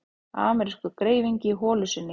Amerískur greifingi í holu sinni.